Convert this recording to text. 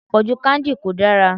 Àpọ̀jù candy kò dára.